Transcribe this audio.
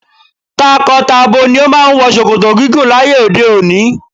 Tako-tabo ni o máa ń wọ ṣòkòtò gígùn láyé òde òni.